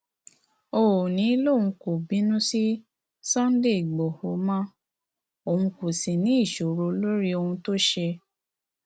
òónì lòun kò bínú sí sunday igbodò mọ òun kò sì ní í sọrọ lórí ohun tó ṣe